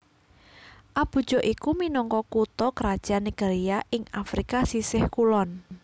Abuja iku minangka kutha krajan Nigeria ing Afrika sisih kulon